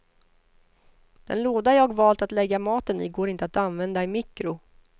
Den låda jag valt att lägga maten i går inte att använda i mikro.